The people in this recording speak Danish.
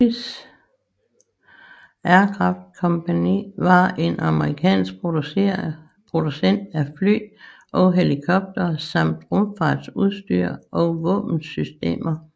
Hughes Aircraft Company var en amerikansk producent af fly og helikoptere samt rumfartsudstyr og våbensystemer